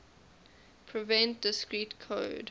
prevent discrete code